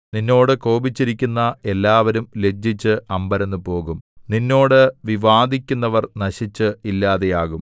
നിന്നോട് കോപിച്ചിരിക്കുന്ന എല്ലാവരും ലജ്ജിച്ച് അമ്പരന്നുപോകും നിന്നോട് വിവാദിക്കുന്നവർ നശിച്ചു ഇല്ലാതെയാകും